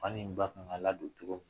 Fa in ba kan ka ladon cogo